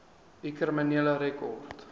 u kriminele rekord